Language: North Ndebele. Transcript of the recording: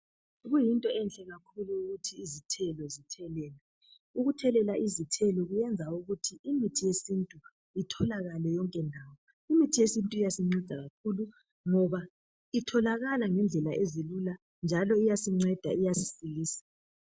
Kuyinto enhle kakhulu ukuthi izithelo zithelelwe. Ukuthelela izithelo kuyenza ukuthi , imithi yesintu itholakale yonke ndawo. Imithi yesintu iyasinceda kakhulu ngoba itholakala ngendlela ezilula njalo iyasinceda iyasisilisa.